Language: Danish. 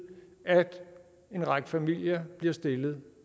at en række familier bliver stillet